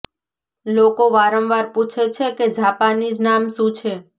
લોકો વારંવાર પૂછે છે કે જાપાનીઝ નામ શું છે